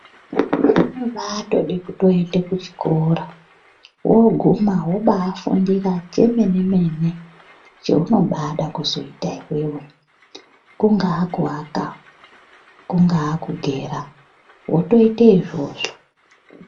Zvinombatode kuende kuchikora woguma wobafundira chemene mene cheunombada kuzoita iwewe kungaa kuaka, kungaa kugera wotoita izvozvo.